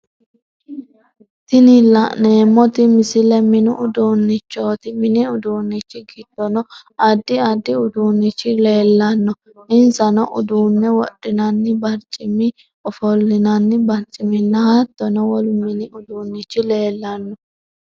Tini la'neemoti misile mini uduunichooti mini uduunichi gidono addi addi uduunichi leellano insano uduune wodhinnanni barcimi, ofolinnanni barciminna hattono wolu mini uduunichi leellano.